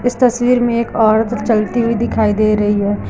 इस तस्वीर में एक औरत चलती हुई दिखाई दे रही है।